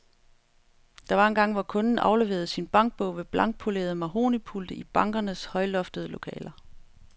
Der var engang, hvor kunden afleverede sin bankbog ved blankpolerede mahognipulte i bankernes højloftede lokaler.